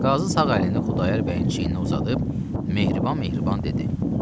Qazı sağ əlini Xudayar bəyin çiyninə uzadıb, mehriban-mehriban dedi.